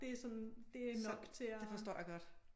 Det er sådan det er nok til at